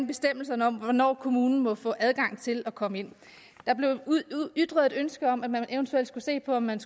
bestemmelserne om hvornår kommunen må få adgang til at komme ind der blev ytret et ønske om at man eventuelt skulle se på om man